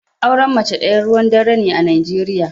Auren mace daya ruwan dare ne a Najeriya.